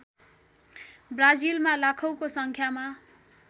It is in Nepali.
ब्राजिलमा लाखौँको सङ्ख्यामा